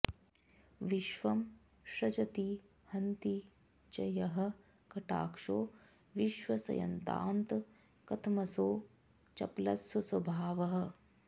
विश्वं सृजति हन्ति च यः कटाक्षो विश्वस्यतां कथमसौ चपलस्वभावः